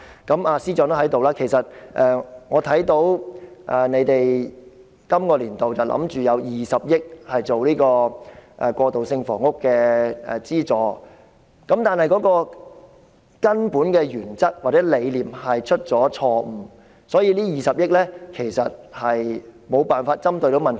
司長，你正好在席，其實我看到你打算在本年度的財政預算案中預留20億元作為過渡性房屋的資助，但是，政府的根本原則或理念錯誤，所以，這20億元無法針對問題。